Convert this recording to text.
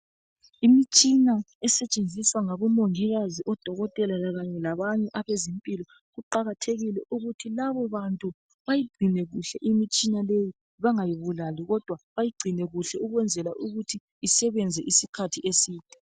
Imitshina esetshenziswa ngabomongikazi labodokotela kanye labanye abezempilo kuqakathekile ukuthi labo bantu bayigcine kahle imitshina leyo bangayibulali kodwa bayigcine kuhle ukwenzela ukuthi isebenze isikhathi eside.